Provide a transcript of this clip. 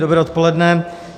Dobré odpoledne.